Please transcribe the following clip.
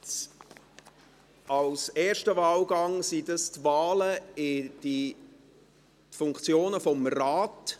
Beim ersten Wahlgang handelt es sich um Wahlen in Funktionen des Rates.